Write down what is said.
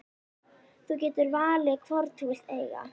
Þú getur valið hvorn þú vilt eiga.